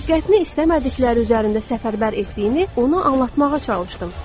Diqqətini istəmədikləri üzərində səfərbər etdiyini ona anlatmağa çalışdım.